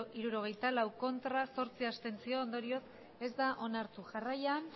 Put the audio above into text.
hirurogeita lau ez zortzi abstentzio ondorioz ez da onartu jarraian